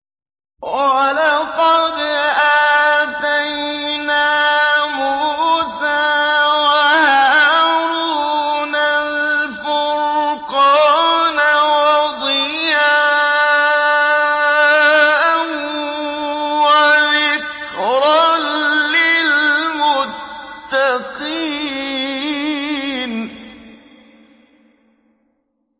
وَلَقَدْ آتَيْنَا مُوسَىٰ وَهَارُونَ الْفُرْقَانَ وَضِيَاءً وَذِكْرًا لِّلْمُتَّقِينَ